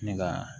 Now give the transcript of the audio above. Ne ka